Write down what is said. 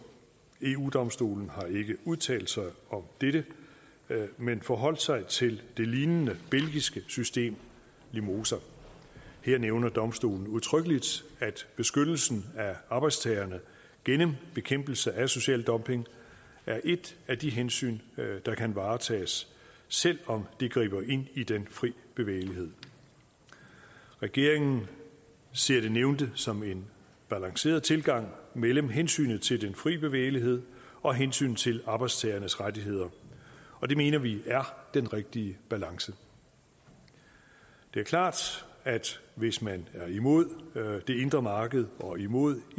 eu domstolen har ikke udtalt sig om dette men forholdt sig til det lignende belgiske system limosa her nævner domstolen udtrykkeligt at beskyttelsen af arbejdstagerne gennem bekæmpelse af social dumping er et af de hensyn der kan varetages selv om det griber ind i den fri bevægelighed regeringen ser det nævnte som en balanceret tilgang mellem hensynet til den fri bevægelighed og hensynet til arbejdstagernes rettigheder og det mener vi er den rigtige balance det er klart at hvis man er imod det indre marked og imod